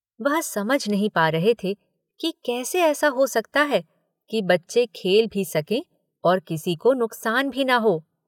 वह समझ नहीं पा रहे थे कि कैसे ऐसा हो सकता है कि बच्चे खेल भी सकें और किसी को नुकसान भी न हो?